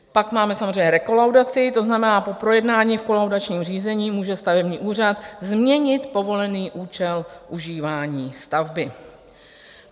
Pak máme samozřejmě rekolaudaci, to znamená po projednání v kolaudačním řízení může stavební úřad změnit povolený účel užívání stavby.